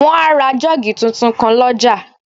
Wọ́n á ra jọ́ọ́gì tuntun kan lọ́jà